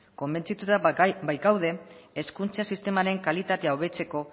konbentzituta baitkaude hezkuntza sistemaren kalitatea hobetzeko